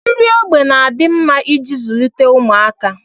Nri ógbè na-adị mma iji zụlite ụmụaka